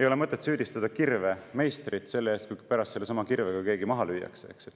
ei ole mõtet süüdistada kirve meistrit, kui pärast sellesama kirvega keegi maha lüüakse.